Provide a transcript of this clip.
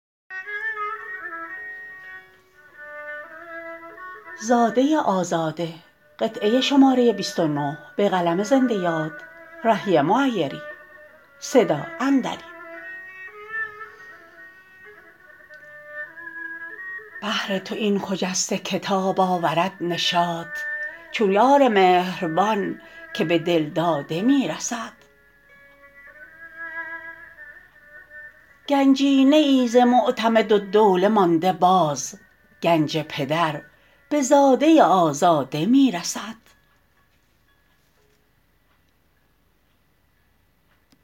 بهر تو این خجسته کتاب آورد نشاط چون یار مهربان که به دلداده می رسد گنجینه ای ز معتمدالدوله مانده باز گنج پدر به زاده آزاده می رسد